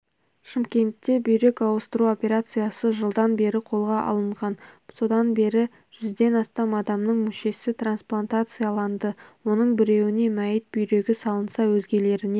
шымкентте бүйрек ауыстыру операциясы жылдан бері қолға алынған содан бері жүзден астам адамның мүшесі трансплантацияланды оның біреуіне мәйіт бүйрегі салынса өзгелеріне